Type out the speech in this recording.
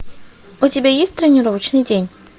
у тебя есть тренировочный день